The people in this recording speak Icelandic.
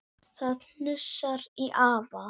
Það hnussar í afa.